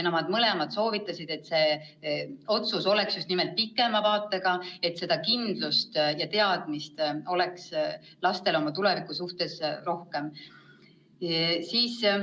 Mõlemad soovitasid teha selle otsuse just nimelt pikema vaatega, et lastel oleks oma tuleviku suhtes rohkem kindlust.